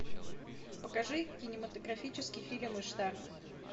покажи кинематографический фильм иштар